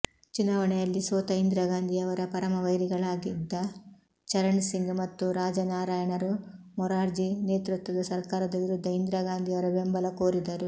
ಚುನಾವಣೆಯಲ್ಲಿ ಸೋತ ಇಂದಿರಾಗಾಂಧಿಯವರ ಪರಮವೈರಿಗಳಾಗಿದ್ದ ಚರಣಸಿಂಗ್ ಮತ್ತು ರಾಜನಾರಾಯಣರು ಮೊರಾರ್ಜಿ ನೇತೃತ್ವದ ಸರ್ಕಾರದ ವಿರುದ್ಧ ಇಂದಿರಾಗಾಂಧಿಯವರ ಬೆಂಬಲ ಕೋರಿದರು